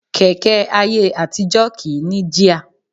Kẹ̀kẹ́ ayé àtijọ́ kì í ní jíà